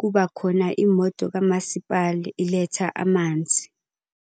kuba khona imoto kamasipala iletha amanzi.